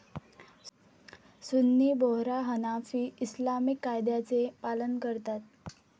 सुन्नी Bohra Hanafi Islamic कायद्याचे पालन करतात.